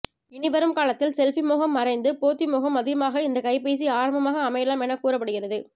இனி வரும் காலத்தில் செல்ஃபி மோகம் மறைந்து போத்தி மோகம் அதிகமாக இந்த கைபேசி ஆரம்பமாக அமையலாம் என கூறப்படுகிறது